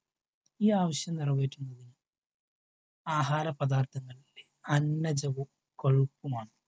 ഈ ആവശ്യം നിറവേറ്റുന്നതിന് ആഹാര പദാർത്ഥങ്ങൾ അന്നജവും കൊഴുപ്പുമാണ്.